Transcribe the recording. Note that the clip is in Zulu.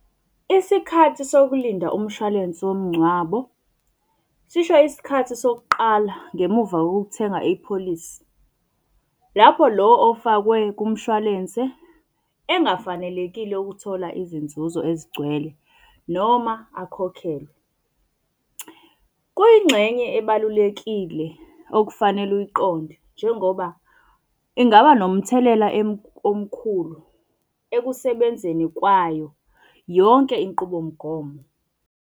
Isikhathi sokulinda umshwalense womngcwabo sisho isikhathi sokuqala ngemuva kokuthenga ipholisi. Lapho lo ofakwe kumshwalense engafanelekile ukuthola izinzuzo ezigcwele noma akhokhelwe. Kuyingxenye ebalulekile okufanele uyiqonde njengoba ingaba nomthelela omkhulu ekusebenzeni kwayo yonke inqubomgomo.